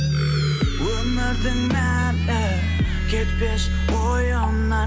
өмірдің мәні кетпес ойымнан